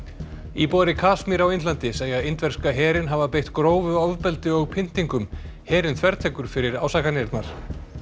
íbúar í Kasmír á Indlandi segja indverska herinn hafa beitt grófu ofbeldi og pyntingum herinn þvertekur fyrir ásakanirnar